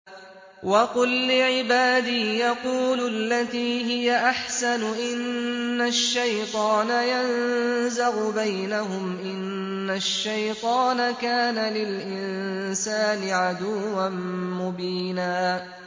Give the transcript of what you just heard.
وَقُل لِّعِبَادِي يَقُولُوا الَّتِي هِيَ أَحْسَنُ ۚ إِنَّ الشَّيْطَانَ يَنزَغُ بَيْنَهُمْ ۚ إِنَّ الشَّيْطَانَ كَانَ لِلْإِنسَانِ عَدُوًّا مُّبِينًا